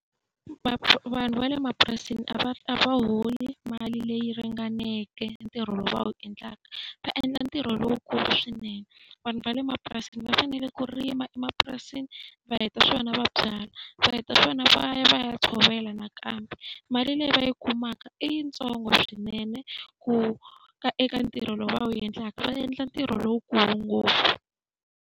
vanhu va le mapurasini a va a va holi mali leyi ringaneke ntirho lowu va wu endlaka, va endla ntirho lowukulu swinene. Vanhu va le mapurasini va fanele ku rima emapurasini, va heta swona va byala. Va heta swona va ya va ya tshovela nakambe. Mali leyi va yi kumaka i yintsongo swinene ku ka eka ntirho lowu va wu endlaka, va endla ntirho lowukulu ngopfu.